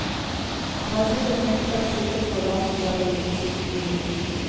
Han har sittet fengslet siktet for landsforræderi siden juli.